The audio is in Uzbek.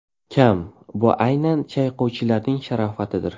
kam, bu aynan chayqovchilarning sharofatidir.